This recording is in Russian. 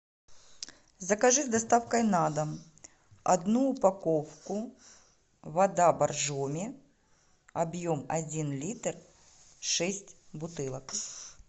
закажи с доставкой на дом одну упаковку вода боржоми объем один литр шесть бутылок